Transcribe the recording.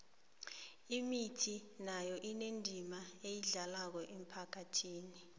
imithi nayo inendima eyidlalako emphakhathini